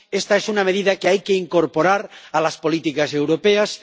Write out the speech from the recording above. Esta es una medida que hay que incorporar a las políticas europeas.